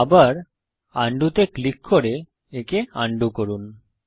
আবার আন্ডু তে ক্লিক করে একে আন্ডু করুন